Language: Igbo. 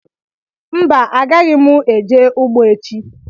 Mba agaghị mụ eje ụgbọ echi